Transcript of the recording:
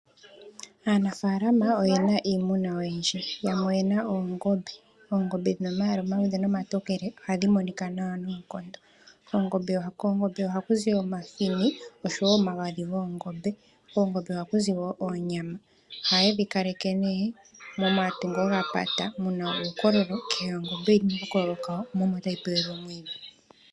Aanafaalama oye na iimuna oyindji. Yamwe oye na oongombe. Oongombe dhi na omalwaala omaluudhe nomatokele ohadhi monika nawa noonkondo. Koongombe ohaku zi omahini noshowo omagadhi goongombe. Koongombe ohaku zi wo onyama. Ohaye dhi kaleke nduno momatungo ga pata ge na uukulolo, kehe ongombe oyi na okakololo kawo mo omo tayi pelwa omwiidhi.